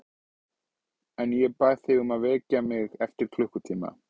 En ég bað þig að vekja mig eftir klukkutíma.